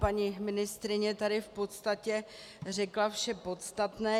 Paní ministryně tady v podstatě řekla vše podstatné.